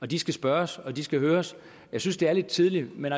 de skal spørges og de skal høres jeg synes det er lidt tidligt men